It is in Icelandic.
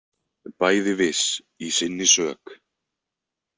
Bæði viss í sinni sök.